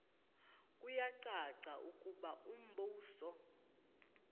kuyacaca ukuba umbuso